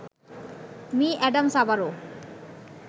me Adams আবারো